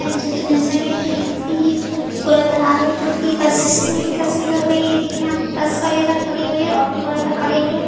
Hello दोस्तों जैसा की आप दिख सकते है ये जो नज़र आ रही है जो की बस स्टैंड की तस्वीर लग रही ये देखिए यहाँ पर बस वगेरा खड़ी हुई है ऑटो वगेरा खड़ी हुए है।